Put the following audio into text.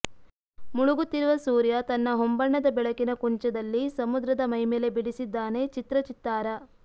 ಮುಳುಗುತ್ತಿರುವ ಸೂರ್ಯ ತನ್ನ ಹೊಂಬಣ್ಣದ ಬೆಳಕಿನ ಕುಂಚದಲ್ಲಿ ಸಮುದ್ರದ ಮೈಮೇಲೆ ಬಿಡಿಸಿದ್ದಾನೆ ಚಿತ್ರ ಚಿತ್ತಾರ